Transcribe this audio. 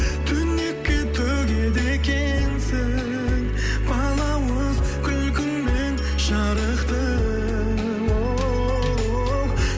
түнекке төгеді екенсің балауыз күлкіңмен жарықты оу